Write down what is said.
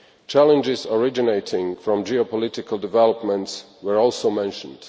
Challenges originating from geopolitical developments were also mentioned.